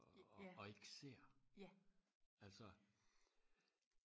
og ikke ser altså